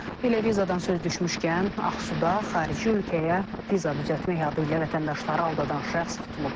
Elə vizadan söz düşmüşkən, Ağsuda xarici ölkəyə viza düzəltmək adı ilə vətəndaşları aldadan şəxs tutulub.